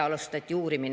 Alustati uurimine.